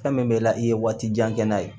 Fɛn min bɛ la i ye waati jan kɛ n'a ye